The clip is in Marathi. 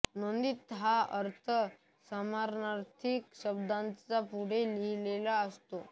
नोंदीत हा अर्थ समानार्थी शब्दांच्या पुढे लिहिलेला असतो